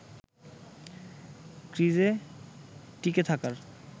ক্রিজে টিকে থাকার